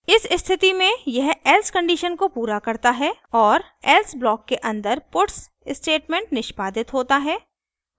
इस स्थिति में यह else कंडीशन को पूरा करता है और else ब्लॉक के अंदर puts स्टेटमेंट निष्पादित होता है